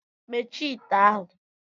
Mechie ite ahụ!